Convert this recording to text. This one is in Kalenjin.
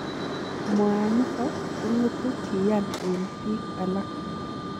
Mwaaniton kong'etu kiyan en biik alak.